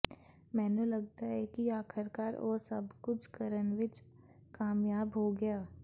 ਮੈਨੂੰ ਲਗਦਾ ਹੈ ਕਿ ਆਖਰਕਾਰ ਉਹ ਸਭ ਕੁਝ ਕਰਨ ਵਿੱਚ ਕਾਮਯਾਬ ਹੋ ਗਿਆ